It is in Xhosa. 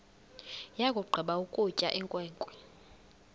yakugqiba ukutya inkwenkwe